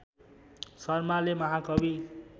शर्माले महाकवि